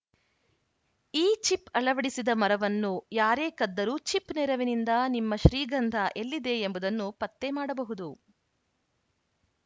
ಈ ಚಿಪ್‌ ಅಳವಡಿಸಿದ ಮರವನ್ನು ಯಾರೇ ಕದ್ದರೂ ಚಿಪ್‌ ನೆರವಿನಿಂದ ನಿಮ್ಮ ಶ್ರೀಗಂಧ ಎಲ್ಲಿದೆ ಎಂಬುದನ್ನು ಪತ್ತೆ ಮಾಡಬಹುದು